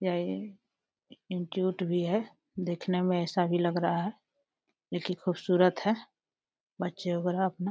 यही गेट भी है। दिखने में ऐसा भी लग रहा है जोकि खूबसूरत है। बच्चे वगैरह अपना --